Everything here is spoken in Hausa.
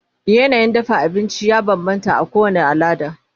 yanayin dafa abinci ya banbanta a kowani alada